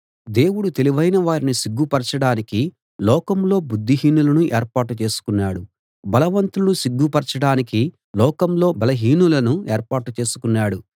దేవుడు తెలివైన వారిని సిగ్గు పరచడానికి లోకంలో బుద్ధిహీనులను ఏర్పాటు చేసుకున్నాడు బలవంతులను సిగ్గు పరచడానికి లోకంలో బలహీనులను ఏర్పాటు చేసుకున్నాడు